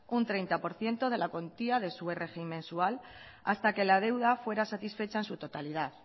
un treinta por ciento de la cuantía de su rgi mensual hasta que la deuda fuera satisfecha en su totalidad